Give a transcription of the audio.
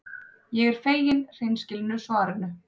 Ég er fegin hreinskilnu svarinu.